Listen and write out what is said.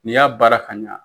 N'i y'a baara ka ɲa